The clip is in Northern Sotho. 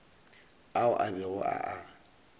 ao a bego a a